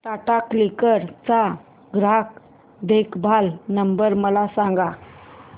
Tata CLiQ चा ग्राहक देखभाल नंबर मला सांगा